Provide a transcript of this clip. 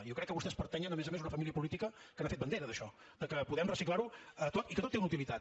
jo crec que vostès pertanyen a més a més a una família política que n’ha fet bandera d’això de que podem reciclar ho tot i que tot té una utilitat